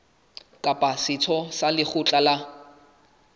kapa setho sa lekgotla la